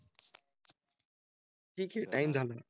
ठीक आहे. टाइम झालं.